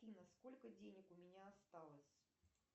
афина сколько денег у меня осталось